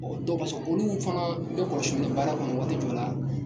dɔw ma sɔn, olu fana, bɛɛ kɔlosinen don baara kɔnɔ waati jɔw la